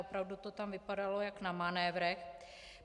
Opravdu to tam vypadalo jak na manévrech.